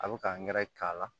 A bɛ ka nɛrɛ k'a la